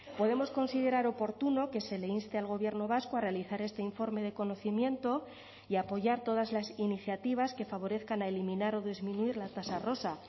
podemos considerar oportuno que se le inste al gobierno vasco a realizar este informe de conocimiento y a apoyar todas las iniciativas que favorezcan a eliminar o disminuir la tasa rosa